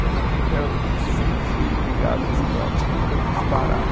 Eu nunca, eu sempre fui ligado ao esporte, nunca quis parar.